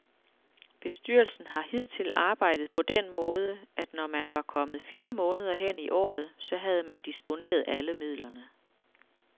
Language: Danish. Bestyrelsen har hidtil arbejdet på den måde, at når man var kommet fire måneder hen i året, så havde man disponeret alle midlerne.